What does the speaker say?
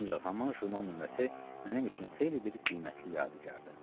Ancaq haman jurnal nömrəsi mənim üçün xeyli bir qiymətli yadigardır.